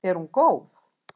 Er hún góð?